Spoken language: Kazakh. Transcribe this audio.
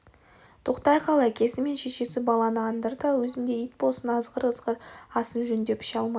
тоқтай қал әкесі мен шешесі баланы андыр да өзіндей ит болсын азғыр-азғыр асын жөндеп іше алмай